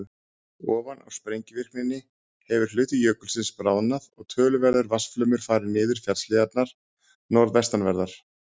Ofan á sprengivirknina hefur hluti jökulsins bráðnað og töluverður vatnsflaumur farið niður fjallshlíðarnar norðvestanverðar.